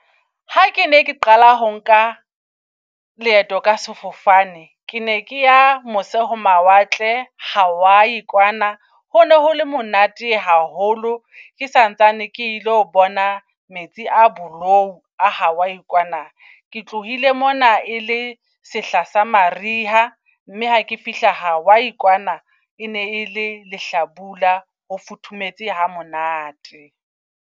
Ha ke ne ke qala ho nka leeto ka sefofane ke ne ke ya mose ho mawatle, Hawaii kwana. Hone hole monate haholo ke santsane ke ilo bona metsi a bolou a Hawaii kwana. Ke tlohile mona e le sehla sa mariha, mme ha ke fihla Hawaii kwana e ne ele lehlabula. Ho futhumetse ha monate.